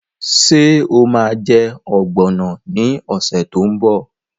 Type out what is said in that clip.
Ṣé o ma jẹ́ ọ̀gbọ̀nọ̀ ní ọ̀sẹ̀ tó ń bọ̀?